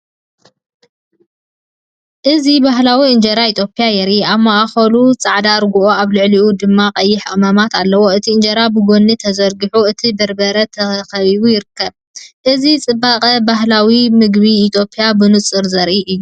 እዚ ባህላዊ እንጀራ ኢትዮጵያ የርኢ። ኣብ ማእከሉ ጻዕዳ ርግኦ ኣብ ልዕሊኡ ድማ ቀይሕ ቀመማት ኣለዎ። እቲ እንጀራ ብጐድኒ ተዘርጊሑ፡ ነቲ በርበረ ተኸቢቡ ይርከብ። እዚ ጽባቐ ባህላዊ ምግብን ኢትዮጵያን ብንጹር ዘርኢ እዩ።